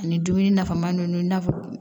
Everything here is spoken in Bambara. Ani dumuni nafama ninnu